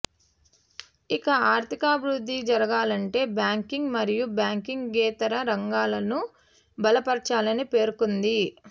ఇక ఆర్థికాభివృద్ధి జరగాలంటే బ్యాంకింగ్ మరియు బ్యాంకింగేతర రంగాలను బలపర్చాలని పేర్కొంది